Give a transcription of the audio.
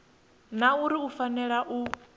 na uri u fanela u